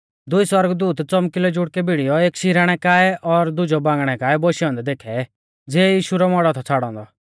दुई सौरगदूत च़ौमकिलौ जुड़कै भिड़ीयौ एक शिराणै काऐ और दुजौ बांगणै काऐ बोशै औन्दै देखै ज़िऐ यीशु रौ मौड़ौ थौ छ़ाड़ौ औन्दौ